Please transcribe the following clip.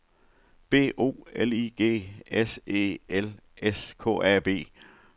B O L I G S E L S K A B